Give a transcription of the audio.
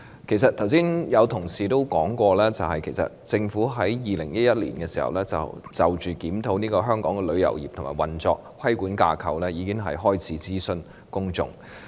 剛才有同事說過，政府早在2011年，已開始就檢討香港旅遊業的運作和規管架構諮詢公眾。